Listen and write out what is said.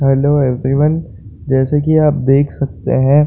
hello everyone जैसे की आप देख सकते है --